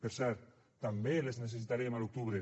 per cert també les necessitarem a l’octubre